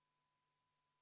Ettepanek leidis toetust.